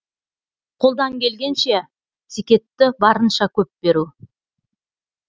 қолдан келгенше зекетті барынша көп беру